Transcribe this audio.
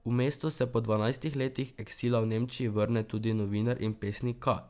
V mesto se po dvanajstih letih eksila v Nemčiji vrne tudi novinar in pesnik Ka.